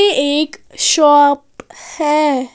यह एक शॉप है।